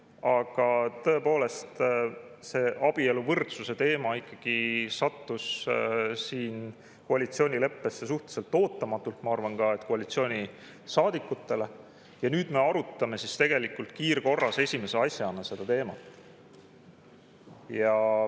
Aga tõepoolest, see abieluvõrdsuse teema sattus koalitsioonileppesse ikkagi suhteliselt ootamatult, ma arvan, ka koalitsioonisaadikute jaoks ja nüüd me arutame tegelikult kiirkorras esimese asjana seda teemat.